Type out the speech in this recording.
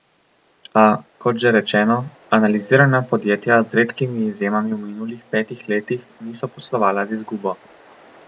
A, kot že rečeno, analizirana podjetja z redkimi izjemami v minulih petih letih niso poslovala z izgubo.